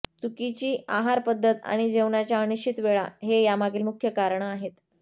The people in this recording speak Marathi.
चुकीची आहार पद्धत आणि जेवणाच्या अनिश्चित वेळा हे यामागील मुख्य कारणं आहेत